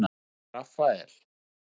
Rafael